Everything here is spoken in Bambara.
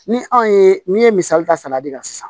Ni anw ye min ye misali ta sala de ka sa